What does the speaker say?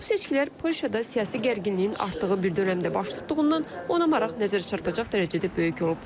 Bu seçkilər Polşada siyasi gərginliyin artdığı bir dönəmdə baş tutduğundan ona maraq nəzər çarpacaq dərəcədə böyük olub.